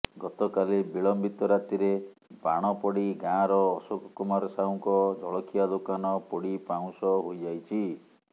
ଗତକାଲି ବିଳମ୍ବିତ ରାତିରେ ବାଣ ପଡି ଗାଁର ଅଶୋକ କୁମାର ସାହୁଙ୍କ ଜଳଖିଆ ଦୋକାନ ପୋଡି ପାଉଁଶ ହୋଇଯାଇଛି